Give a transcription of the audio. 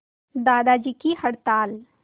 दादाजी की हड़ताल